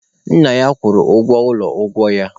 Nna ya kwụrụ ụgwọ ụlọ ọgwụ ya.